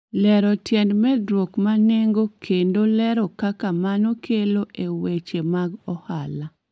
Lero tiend medruok ma nengo kendo lero kaka mano kelo e weche mag ohala